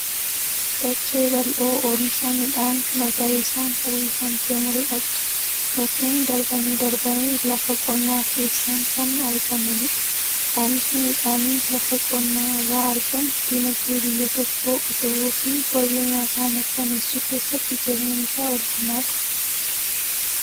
Dachee bal'oo oomisha midhaan magariisaan uwwifamtee mul'attu. Mukeen darbanii darbanii lafa qonnaa keessaan kan argamanidha. Oomishni midhaanii lafa qonnaa irraa argamu dinagdee biyya tokkoo utubuu fi wabii nyaataa mirkaneessuu keessatti gaheen isaa olaanaadha.